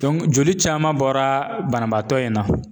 Dɔnku joli caman bɔra banabaatɔ in na